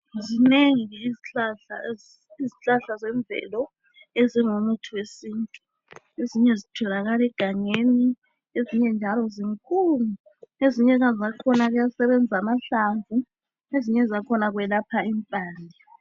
Zinengi izihlahla zemvelo ezingumuthi wesintu. Ezinye zitholakala egangeni . Ezinye njalo zinkulu . Ezinye zakhona kuyasebenza amahlamvu .Ezinye zakhona kwelapha impande.